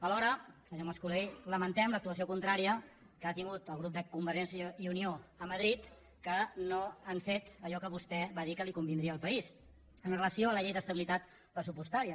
alhora senyor mascolell lamentem l’actuació contrària que ha tingut el grup de convergència i unió a madrid que no han fet allò que vostè va dir que li convindria al país amb relació a la llei d’estabilitat pressupostària